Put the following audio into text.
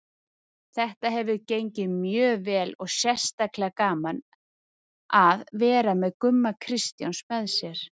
Þetta hefur gengið mjög vel og sérstaklega gaman að vera með Gumma Kristjáns með mér.